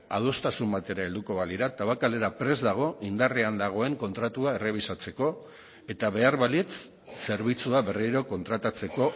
adostasun batera helduko balira tabakalera prest dago indarrean dagoen kontratua errebisatzeko eta behar balitz zerbitzua berriro kontratatzeko